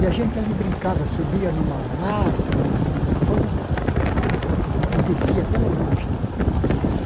E a gente ali brincava, subia numa lata, num numa coisa, e descia até lá embaixo e tal.